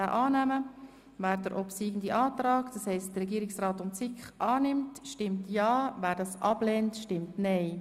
Wer den obsiegenden Antrag Regierungsrat und SiK annimmt, stimmt ja, wer das ablehnt, stimmt nein.